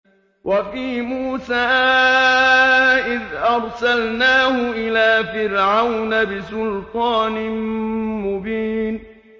وَفِي مُوسَىٰ إِذْ أَرْسَلْنَاهُ إِلَىٰ فِرْعَوْنَ بِسُلْطَانٍ مُّبِينٍ